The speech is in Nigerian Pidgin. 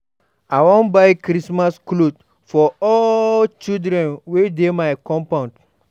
I wan buy Christmas cloth for all di children wey dey my compound.